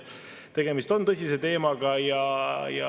Tegemist on tõsise teemaga.